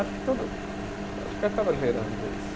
Acho que todo, acho que acaba gerando isso.